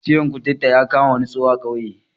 Ciwon kuturta ya kama wani tsoho a ƙauye